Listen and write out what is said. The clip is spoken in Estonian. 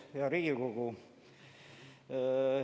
Hea Riigikogu!